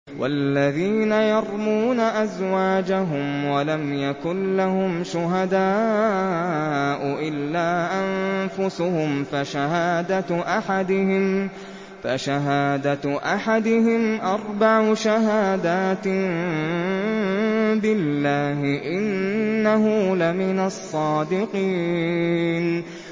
وَالَّذِينَ يَرْمُونَ أَزْوَاجَهُمْ وَلَمْ يَكُن لَّهُمْ شُهَدَاءُ إِلَّا أَنفُسُهُمْ فَشَهَادَةُ أَحَدِهِمْ أَرْبَعُ شَهَادَاتٍ بِاللَّهِ ۙ إِنَّهُ لَمِنَ الصَّادِقِينَ